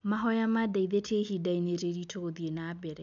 Mahoya mandeithĩtie ihinda-inĩ rĩritũ gũthiĩ nambere.